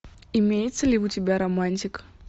имеется ли у тебя романтик